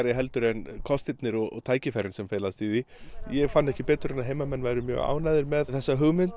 heldur en kostirnir og tækifærin sem felast í því ég fann ekki betur en að heimamenn væru mjög ánægðir með þessa hugmynd